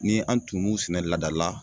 Ni an tun m'u sɛnɛ lada la